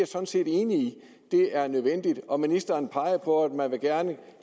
sådan set enig i det er nødvendigt og ministeren pegede på at man gerne